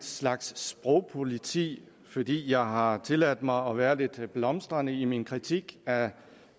slags sprogpoliti fordi jeg har tilladt mig at være lidt blomstrende i min kritik af